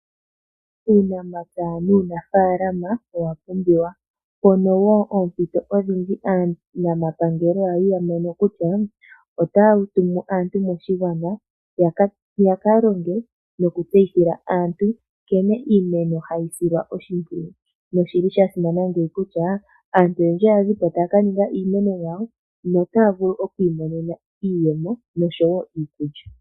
Uunamapya nuunafaalama owa pumbiwa. Mpono wo oompito odhindji aanamapangelo ya li ya mono kutya otaya tumu aantu moshigwana ya ka longe nokutseyithila aantu nkene iimeno hayi silwa oshimpwiyu. Osha simana ngeyi kutya aantu oyendji oya zi po taya ka ninga iimeno yawo notaya vulu oku imonena iiyemo noshowo iikulya.